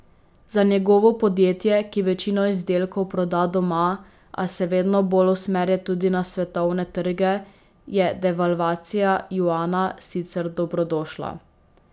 Za njegovo podjetje, ki večino izdelkov proda doma, a se vedno bolj usmerja tudi na svetovne trge, je devalvacija juana sicer dobrodošla.